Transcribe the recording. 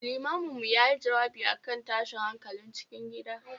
Limamin mu yayi jawabi akan tashin hankalin cikin gida